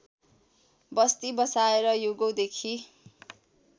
बस्ती बसाएर युगौँदेखि